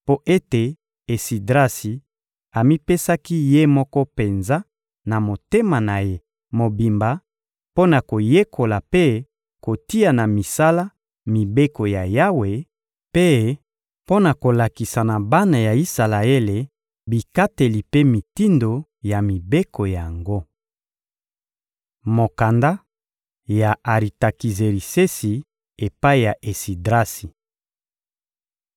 mpo ete Esidrasi amipesaki ye moko penza, na motema na ye mobimba, mpo na koyekola mpe kotia na misala mibeko ya Yawe mpe mpo na kolakisa na bana ya Isalaele bikateli mpe mitindo ya mibeko yango. Mokanda ya Aritakizerisesi epai ya Esidrasi